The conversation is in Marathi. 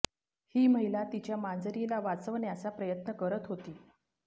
ही महिला तिच्या मांजरीला वाचवण्याचा प्रयत्न करत होती